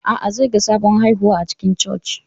A'a, zai ga sabon haihuwa a cikin Church.